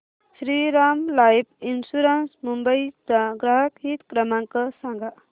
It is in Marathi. श्रीराम लाइफ इन्शुरंस मुंबई चा ग्राहक हित क्रमांक सांगा